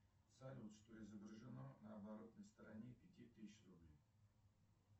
салют что изображено на оборотной стороне пяти тысяч рублей